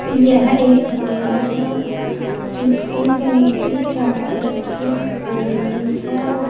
यह एक ग्राउंड है जिसकी बाउंड्री चारों तरफ से हो रही है।